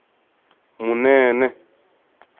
munene